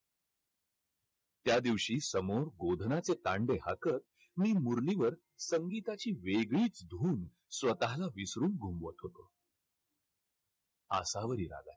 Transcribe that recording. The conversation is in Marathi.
त्यादिवशी समोर तांडे हाकत मी मुरलीवर संगीताची वेगळीच धुन स्वतःला विसरून होतो. आसावरी